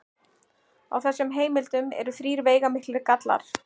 Á þessum heimildum eru þrír veigamiklir gallar.